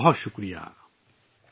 بہت بہت شکریہ